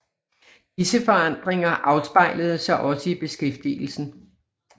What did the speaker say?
Disse forandringer afspejlede sig også i beskæftigelsen